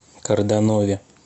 карданове